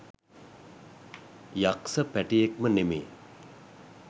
යක්ස පැටියෙක්ම නෙමේ.